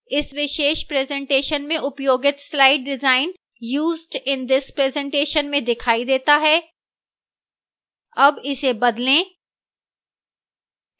इस विशेष presentation में उपयोगित slide design used in this presentation में दिखाई देता है अब इसे बदलें